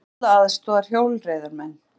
Þyrla aðstoðar hjólreiðamenn